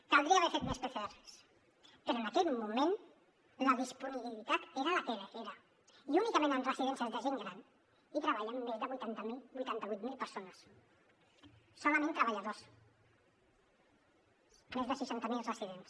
caldria haver fet més pcrs però en aquell moment la disponibilitat era la que era i únicament en residències de gent gran hi treballen més de vuitanta vuit mil persones solament treballadors més de seixanta miler residents